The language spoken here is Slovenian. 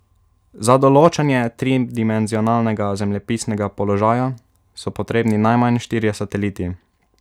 Za določanje tridimenzionalnega zemljepisnega položaja so potrebni najmanj štirje sateliti.